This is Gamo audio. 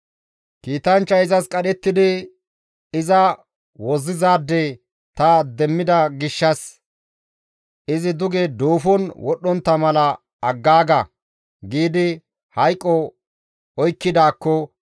kiitanchchay izas qadhettidi, ‹Iza wozzizaade ta demmida gishshas izi duge duufon wodhdhontta mala aggaaga!› giidi hayqo oykkidaakko,